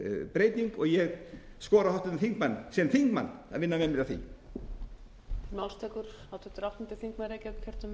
breyting og ég skora á háttvirtan þingmann sem þingmann að vinna með mér að því